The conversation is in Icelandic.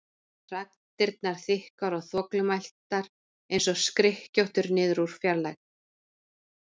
Raddirnar þykkar og þvoglumæltar einsog skrykkjóttur niður úr fjarlægð.